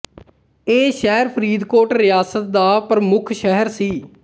ਇਹ ਸ਼ਹਿਰ ਫਰੀਦਕੋਟ ਰਿਆਸਤ ਦਾ ਪ੍ਰਮੁੱਖ ਸ਼ਹਿਰ ਸੀ